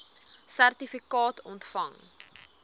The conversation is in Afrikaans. sertifikaat ontvang